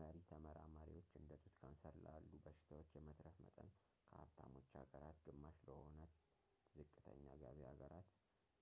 መሪ ተመራማሪዎች እንደ ጡት ካንሰር ላሉ በሽታዎች የመትረፍ መጠን ከሀብታሞች ሀገራት ግማሽ ለሆነት ዝቅተኛ ገቢ ሀገራት